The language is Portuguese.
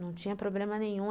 Não tinha problema nenhum.